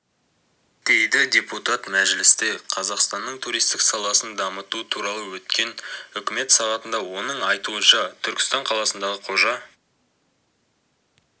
дейді депутат мәжілісте қазақстанның туристік саласын дамыту туралы өткен үкімет сағатында оның айтуынша түркістан қаласындағы қожа